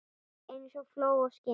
Eins og fló á skinni.